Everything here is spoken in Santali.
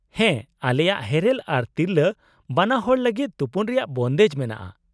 -ᱦᱮᱸ, ᱟᱞᱮᱭᱟᱜ ᱦᱮᱨᱮᱞ ᱟᱨ ᱛᱤᱨᱞᱟᱹ ᱵᱟᱱᱟᱦᱚᱲ ᱞᱟᱹᱜᱤᱫ ᱛᱩᱯᱩᱱ ᱨᱮᱭᱟᱜ ᱵᱚᱱᱫᱮᱡ ᱢᱮᱱᱟᱜᱼᱟ